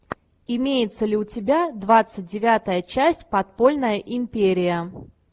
имеется ли у тебя двадцать девятая часть подпольная империя